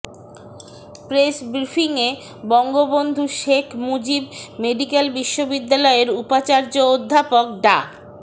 press ব্রিফিংয়ে Bangabandhu Sheikh Mujib medical বিশ্ববিদ্যালয়ের উপাচার্য অধ্যাপক ডা